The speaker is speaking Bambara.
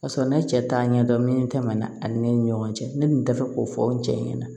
Ka sɔrɔ ne cɛ t'a ɲɛdɔn min tɛmɛna ani ne ni ɲɔgɔn cɛ ne tun tɛ fɛ k'o fɔ n cɛ ɲɛna